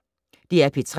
DR P3